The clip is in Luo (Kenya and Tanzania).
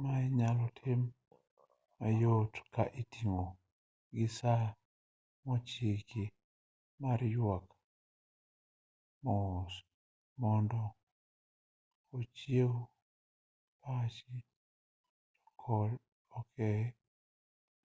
ma inyal tim mayot ka itiyo gi saa mochiki ma yuak mos mondo ochiew pachi to ok